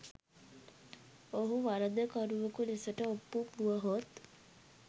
ඔහු වරදකරුවකු ලෙසට ඔප්පු වුවහොත්